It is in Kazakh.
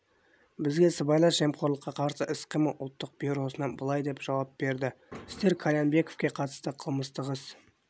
бізге сыбайлас жемқорлыққа қарсы іс-қимыл ұлттық бюросынан былай деп жауап берді сіздер қальянбековке қатысты қылмыстық іс